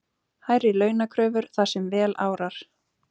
Hærri launakröfur þar sem vel árar